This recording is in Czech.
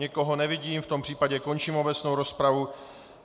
Nikoho nevidím, v tom případě končím obecnou rozpravu.